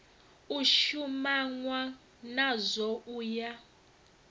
u shumanwa nazwo u ya